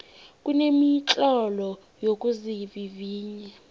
kunemitlolo yokuzivivinya